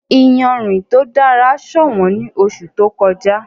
Ìyánrín ti o dara ṣọwọn ní oṣù tó kọ̀jà.